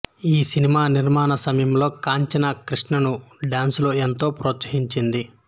ఈ సినిమా నిర్మాణ సమయంలో కాంచన కృష్ణను డ్యాన్సులో ఎంతో ప్రోత్సహించింది